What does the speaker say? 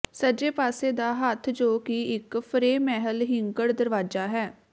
ਸੱਜੇ ਪਾਸੇ ਦਾ ਹੱਥ ਜੋ ਕਿ ਇਕ ਫਰੇਮਹਿਲ ਹਿੰਗਡ ਦਰਵਾਜ਼ਾ ਹੈ